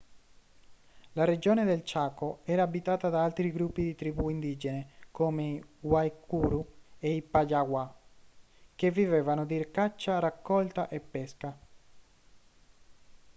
la regione del chaco era abitata da altri gruppi di tribù indigene come i guaycuru e i payaguá che vivevano di caccia raccolta e pesca